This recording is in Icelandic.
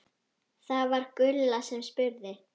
Það var Gulla sem spurði.